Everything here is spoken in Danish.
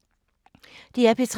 DR P3